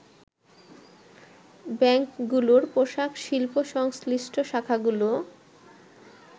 ব্যাংকগুলোর পোশাক শিল্প-সংশ্লিষ্ট শাখাগুলো